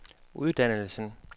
uddannelsen